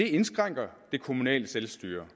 indskrænker det kommunale selvstyre